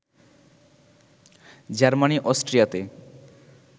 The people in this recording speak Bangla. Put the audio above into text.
জার্মানি অস্ট্রিয়াতে